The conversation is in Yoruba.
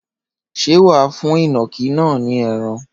Ṣé wà á fún ìnàkí náà ní ẹran?